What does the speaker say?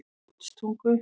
Fljótstungu